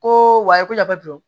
Ko wayi ko la don